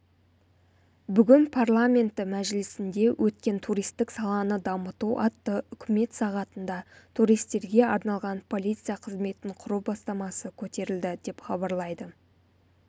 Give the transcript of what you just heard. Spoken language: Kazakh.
бүгін парламенті мәжілісінде өткен туристік саланы дамыту атты үкімет сағатында туристерге арналған полиция қызметін құру бастамасы көтерілді деп хабарлайды